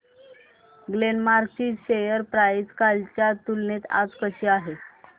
Glenmark ची share price कालच्या तुलनेत आज कशी आहे